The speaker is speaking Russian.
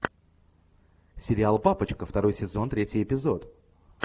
сериал папочка второй сезон третий эпизод